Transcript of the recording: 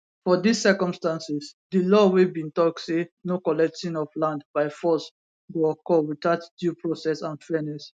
for dis circumstances di law wey bin tok say no collecting of land by force go occur witout due process and fairness